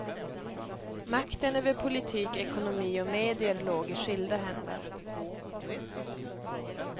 Makten över politik, ekonomi och medier låg i skilda händer.